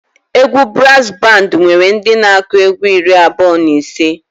Egwu braazụ bandị nwere ndị na-akụ egwu iri abụọ na ise.